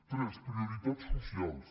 tres prioritats socials